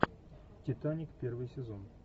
титаник первый сезон